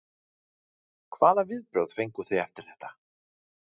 Hvaða viðbrögð fenguð þið eftir þetta?